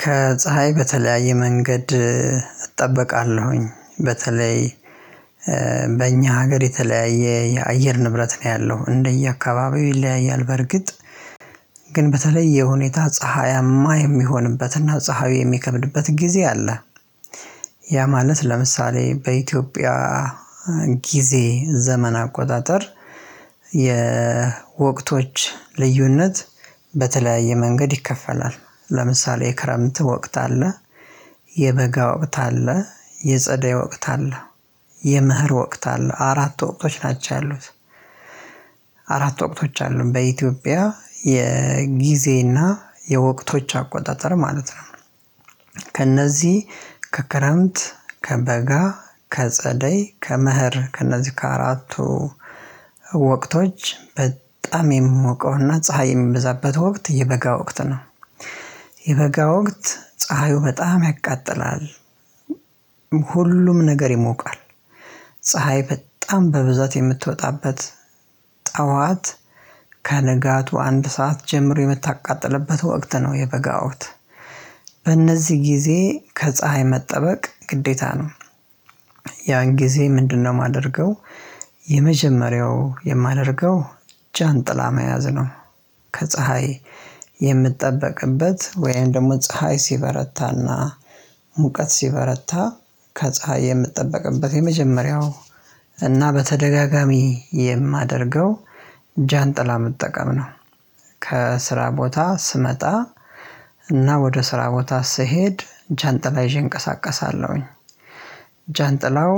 ከፀሀይ በተለያየ መንገድ እጠበቃለሁኝ በተለይ በእኛ ሀገር የተለያየ የአየር ንብረት ነው ያለው እንደየአካባቢው ይለያያል። በርግጥ ግን በተለየ ሁኔታ ፀሀያማ የሚሆንበት እና ፀሀዩ የሚከብድበት ጊዜ አለ። ያ ማለት ለምሳሌ በኢትዮጵያ ጊዜ ዘመን አቆጣጠር የወቅቶች ልዩነት በተለያየ መንገድ ይከፈላል። ለምሳሌ የክረምት ወቅት አለ የበጋ ወቅት አለ የጸደይ ወቅት አለ የመኸር ወቅት አለ አራት ወቅቶች ናቸው ያሉት። አራት ወቅቶች አሉን በኢትዮጵያ የጊዜና የወቅቶች አቆጣጠር ማለት ነው። ከእነዚህ ከክረምት ከበጋ ከጸደይ ከመኸር ከነዚህ ከአራቱ ወቅቶች በጣም የምሞቀውና ፀሀይ የሚበዛበት ወቅት የበጋ ወቅት ነው። የበጋ ወቅት ፀሀዩ በጣም ያቃጥላል። ሁሉም ነገር ይሞቃል። ፀሀይ በጣም በብዛት የምትወጣበት ጠዋት ከንጋቱ አንድ ሰዓት ጀምሮ የምታቃጥልበት ወቅት ነው የበጋ ወቅት። በእነዚህ ጊዜ ከፀሀይ መጠበቅ ግዴታ ነው። ያን ጊዜ ምንድነው የማደርገው? የመጀመሪያው የማደርገው ጃንጥላ መያዝ ነው። ከፀሀይ የምጠበቅበት ወይም ደግሞ ፀሀይ ሲበረታና ሙቀት ሲበረታ ከፀሀይ የምጠብቅበት የመጀመሪያው እና በተደጋጋሚ የማደርገው ጃንጥላ መጠቀም ነው። ከስራ ቦታ ስመጣ እና ወደ ስራ ቦታ ስሄድ ጃንጥላ ይዤ እንቀሳቀሳለሁኝ። ጃንጥላው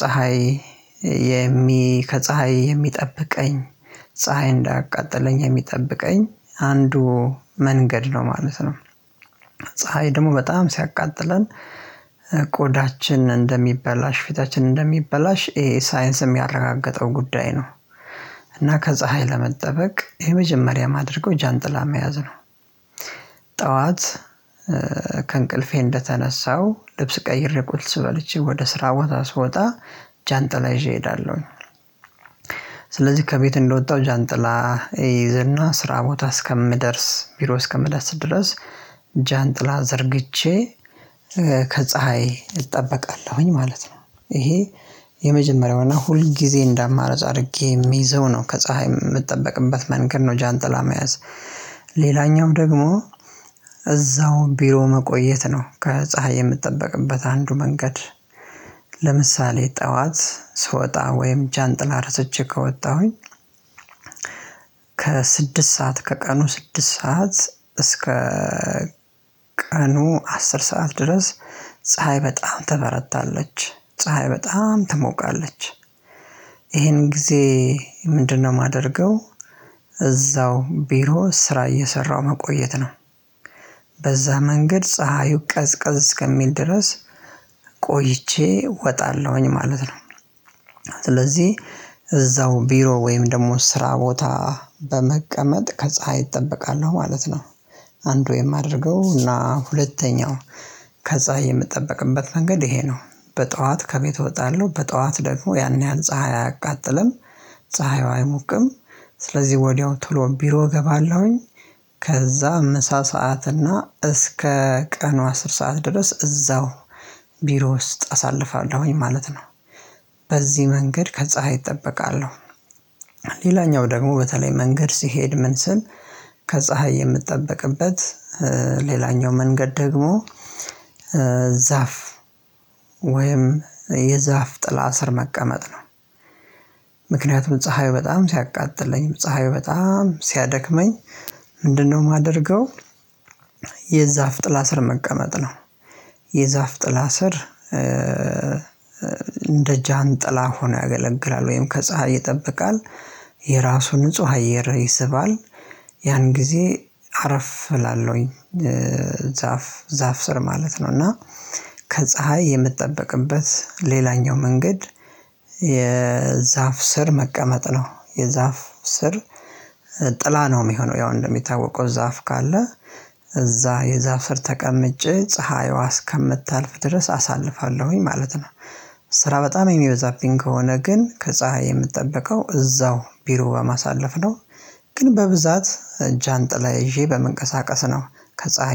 ፀሀይ የሚ ከፀሀይ የሚጠብቀኝ ፀሀይ እንዳቃጠለኝ የሚጠብቀኝ አንዱ መንገድ ነው ማለት ነው። ፀሀይ ደግሞ በጣም ሲያቃጥለን ቆዳችን እንደሚበላሽ ፊታችን እንደሚበላሽ ይሄ ሳይንስ የሚያረጋግጠው ጉዳይ ነው። እና ከፀሀይ ለመጠበቅ የመጀመሪያ ማድረገው ጃንጥላ መያዝ ነው። ጠዋት ከእንቅልፌ እንደተነሳው ልብስ ቀይሬ ቁርስ በልቼ ወደ ስራ ቦታ ስወጣ ጃንጥላ ይዤ እሄዳለሁኝ። ስለዚህ ከቤት እንደወጣሁ ጃንጥላ እይዝና ስራ ቦታ እስከምደርስ ቢሮ እስከምደርስ ድረስ ጃንጥላ ዘርግቼ ከፀሀይ እጠበቃለሁኝ ማለት ነው። ይሄ የመጀመሪያውና ሁል ጊዜ እንዳማረጽ አድርጌ የሚይዘው ነው ከፀሀይ የምጠበቅበት መንገድ ነው ጃንጥላ መያዝ። ሌላኛው ደግሞ እዛው ቢሮ መቆየት ነው ከፀሀይ የምጠበቅበት አንዱ መንገድ። ለምሳሌ ጠዋት ስወጣ ወይም ጃንጥላ ረስቼ ከወጣሁኝ ከስድስት ሰዓት ከቀኑ ስድስት ሰዓት እስከ ቀኑ አስር ሰዓት ድረስ ፀሀይ በጣም ትበረታለች ፀሀይ በጣም ትሞቃለች። ይሄን ጊዜ ምንድነው የማደርገው? እዛው ቢሮ ስራ እየሰራሁ መቆየት ነው። በዛ መንገድ ፀሀዩ ቀዝቀዝ እስከሚል ድረስ ቆይቼ እወጣለሁኝ ማለት ነው። ስለዚህ እዛው ቢሮ ወይም ደግሞ ስራ ቦታ በመቀመጥ ከፀሀይ እጠበቃለሁ ማለት ነው። አንዱ የማደርገው እና ሁለተኛው ከዛ የምጠበቅበት መንገድ ይሄ ነው። በጠዋት ከቤት እወጣለሁ በጠዋት ደግሞ ያን ያህል ፀሀይ አያቃጥልም ፀሀይዋ አይሙቅም ስለዚህ ወዲያው ቶሎ ቢሮ እገባለሁኝ። ከዛ ምሳ ሰዓት እና እስከ ቀኑ አስር ሰዓት ድረስ እዛው ቢሮ ውስጥ አሳልፋለሁኝ ማለት ነው። በዚህ መንገድ ከጸሀይ እጠበቃለሁ። ሌላኛው ደግሞ በተለይ መንገድ ስሄድ ምን ስል ከፀሀይ የምጠበቅበት ሌላኛው መንገድ ደግሞ ዛፍ ወይም የዛፍ ጥላ ስር መቀመጥ ነው። ምክንያቱም ፀሀዩ በጣም ሲያቃጥለኝ ፀሀዩ በጣም ሲያደክመኝ ምንድነው የማደርገው? የዛፍ ጥላ ስር መቀመጥ ነው። የዛፍ ጥላ ስር እንደ ጃን ጥላ ሆኖ ያገለግላል ወይም ከፀሀይ ይጠብቃል። የራሱ ንጹህ አየር ይስባል። ያን ጊዜ አረፍ እላለሁኝ። ዛፍ ስር ማለት ነው እና ከፀሀይ የምጠበቅበት ሌላኛው መንገድ። የዛፍ ስር መቀመጥ ነው የዛፍ ስር ጥላ ነው የሚሆነው ያው እንደሚታወቀው ዛፍ ካለ እዛ የዛፍ ስር ተቀምጬ ፀሀይዋ እስከምታልፍ ድረስ አሳልፋለሁኝ ማለት ነው። ስራ በጣም የሚበዛብኝ ከሆነ ግን ከፀሀይ የምጠበቀው እዛው ቢሮ በማሳለፍ ነው። ግን በብዛት ጃንጥላ ይዤ በመንቀሳቀስ ነው። ከፀሀይ